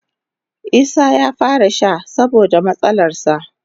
Isah ya fara sha saboda matsalarsa.